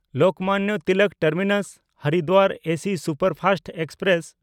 Lokmanya Tilak ᱴᱟᱨᱢᱤᱱᱟᱥ–ᱦᱚᱨᱤᱫᱣᱟᱨ AC superfast express